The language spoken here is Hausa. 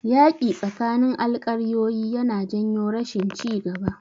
Yaƙi tsakanin alƙaryoyi yana janyo rashin ci gaba.